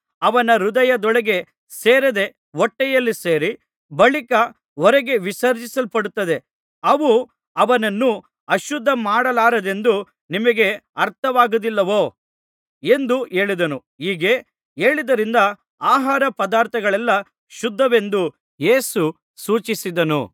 ಅವನ ಹೃದಯದೊಳಕ್ಕೆ ಸೇರದೆ ಹೊಟ್ಟೆಯಲ್ಲಿ ಸೇರಿ ಬಳಿಕ ಹೊರಗೆ ವಿಸರ್ಜಿಸಲ್ಪಡುತ್ತದೆ ಅವು ಅವನನ್ನು ಅಶುದ್ಧ ಮಾಡಲಾರದೆಂದು ನಿಮಗೆ ಅರ್ಥವಾಗುವುದಿಲ್ಲವೋ ಎಂದು ಹೇಳಿದನು ಹೀಗೆ ಹೇಳಿದ್ದರಿಂದ ಆಹಾರ ಪದಾರ್ಥಗಳೆಲ್ಲಾ ಶುದ್ಧವೆಂದು ಯೇಸು ಸೂಚಿಸಿದನು